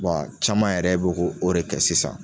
Wa caman yɛrɛ b'o ko o de kɛ sisan